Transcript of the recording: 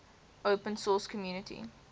open source community